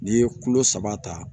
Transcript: N'i ye kulo saba ta